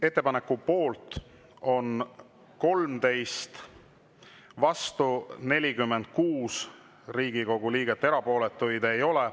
Ettepaneku poolt on 13, vastu 46 Riigikogu liiget, erapooletuid ei ole.